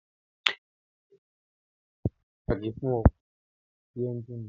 Epo bẹntiró jẹ́ èpò pàtàkì fún ọkọ̀ àti ẹ́njìnì